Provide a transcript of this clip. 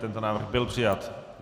Tento návrh byl přijat.